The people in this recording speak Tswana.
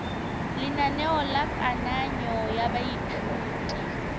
lenaneo la kananyo ya baithuti